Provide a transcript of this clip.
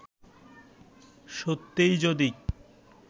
সত্যিই যদি